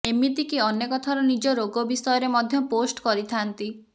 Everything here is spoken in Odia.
ଏମିତିକି ଅନେକ ଥର ନିଜ ରୋଗ ବିଷୟରେ ମଧ୍ୟ ପୋଷ୍ଟ କରିଥାଆନ୍ତି